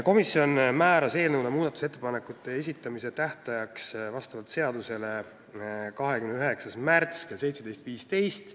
Komisjon määras eelnõu muudatusettepanekute esitamise tähtajaks vastavalt seadusele 29. märtsi kell 17.15.